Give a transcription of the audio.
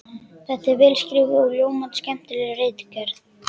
Þetta er vel skrifuð og ljómandi skemmtileg ritgerð!